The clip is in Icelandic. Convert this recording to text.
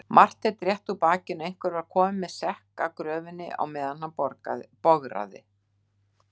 Marteinn rétti úr bakinu, einhver var kominn með sekk að gröfinni á meðan hann bograði.